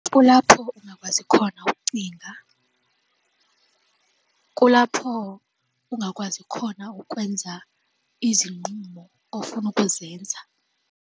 Kulapho ungakwazi khona ukucinga. Kulapho ungakwazi khona ukwenza izinqumo ofuna ukuzenza.